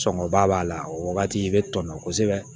Sɔngɔba b'a la o wagati i bɛ tɔnɔ kosɛbɛ